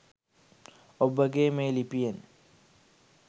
ඔබගේ මේ ලිපියෙන්